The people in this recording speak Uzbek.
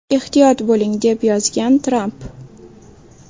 Ehtiyot bo‘ling!” deb yozgan Tramp.